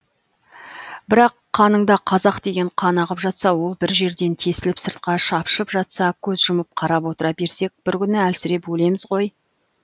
бірақ қаныңда қазақ деген қан ағып жатса ол бір жерден тесіліп сыртқа шапшып жатса көз жұмып қарап отыра берсек бір күні әлсіреп өлеміз ғой